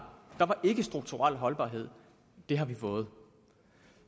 ikke strukturel holdbarhed det har vi fået